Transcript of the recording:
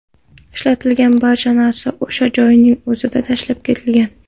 Ishlatilgan barcha narsa o‘sha joyning o‘zida tashlab ketilgan.